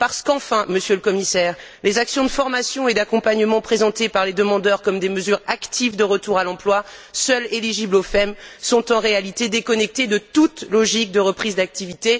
Parce qu'enfin, Monsieur le Commissaire, les actions de formation et d'accompagnement présentées par les demandeurs comme des mesures actives de retour à l'emploi, seules éligibles au FEM, sont en réalité déconnectées de toute logique de reprise d'activité.